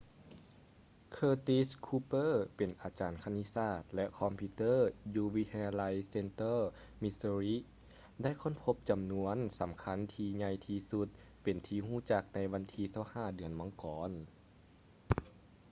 curtis cooper ເປັນອາຈານຄະນິດສາດ ແລະ ຄອມພິວເຕີຢູ່ວິທະຍາໄລ central missouri ໄດ້ຄົ້ນພົບຈໍານວນທີ່ສໍາຄັນທີ່ໃຫຍ່ທີ່ສຸດເປັນທີ່ຮູ້ຈັກໃນວັນທີ 25 ເດືອນມັງກອນ